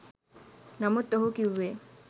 නමුත් ඔහු කිව්වෙ